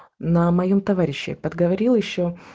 на моем товарищи подговорил ещё